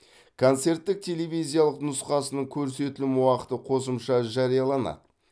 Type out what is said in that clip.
концерттік телевизиялық нұсқасының көрсетілім уақыты қосымша жарияланады